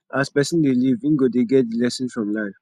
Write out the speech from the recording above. as person dey live im go dey get the lessons from life